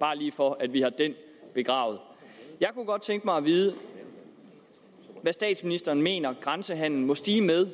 bare lige for at vi har den begravet jeg kunne godt tænke mig at vide hvad statsministeren mener grænsehandelen må stige med